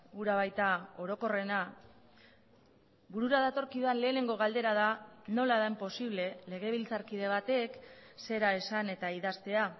hura baita orokorrena burura datorkidan lehenengo galdera da nola den posible legebiltzarkide batek zera esan eta idaztea